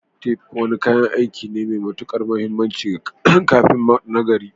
Tef wani kayan aiki ne mai matuƙar mahimmanci ga kafinta nagari.